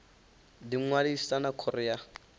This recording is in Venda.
ḓi ṅwalisa na khoro ya